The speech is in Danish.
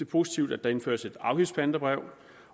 positivt at der indføres et afgiftspantebrev